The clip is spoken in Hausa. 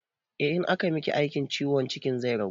Eh, in aka miki aikin ciwon cikin zai ragu